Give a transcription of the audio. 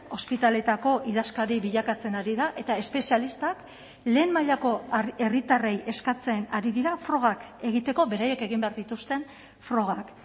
ospitaleetako idazkari bilakatzen ari da eta espezialistak lehen mailako herritarrei eskatzen ari dira frogak egiteko beraiek egin behar dituzten frogak